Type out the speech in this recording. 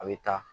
A bɛ taa